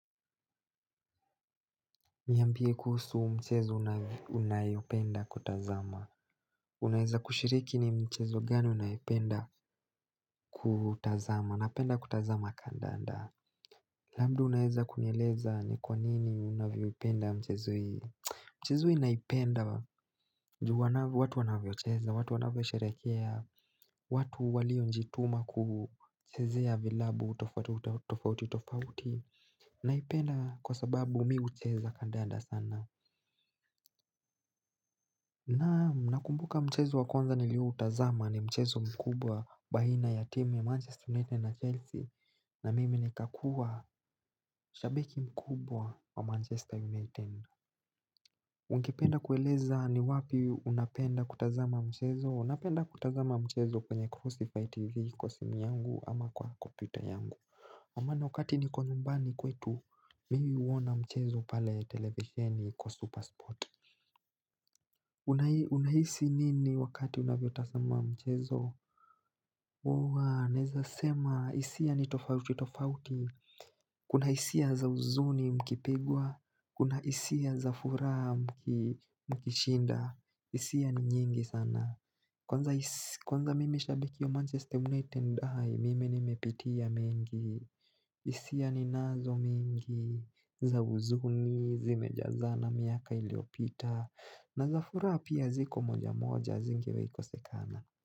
Niambie kuhusu mchezo unayopenda kutazama. Unaeza kushiriki ni mchezo gani unayopenda kutazama. Napenda kutazama kandanda. Labda unaeza kuni eleza ni kwa nini unayopenda mchezo hii. Mchezo hii naipenda juu watu wanavyocheza, watu wanavyo sherehekea, watu walio jituma kuchezea vilabu tofauti tofauti. Naipenda kwa sababu mi ucheza kandanda sana. Naam, nakumbuka mchezo wakonza niliu utazama ni mchezo mkubwa bahina ya timu ya Manchester United na Chelsea na mimi nika kuwa shabiki mkubwa wa Manchester United Ungependa kueleza ni wapi unapenda kutazama mchezo? Napenda kutazama mchezo kwenye Crossify TV kwa simu yangu ama kwa kopyuta yangu wa mana wakati ni konumbani kwetu mii uona mchezo pale televisioni kwa Supersport Unahisi nini wakati unavyo tazama mchezo? Huwa, naeza sema hisia ni tofauti tofauti Kuna hisia za uzuni mkipigwa Kuna hisia za fura mki mkishinda hisia ni nyingi sana Kwanza mimi shabiki Manchester United high mimi nimepitia mingi isia ni nazo mingi za uzuni zimejazana miaka iliopita na za fura pia ziko moja moja zinge wahi kosekana.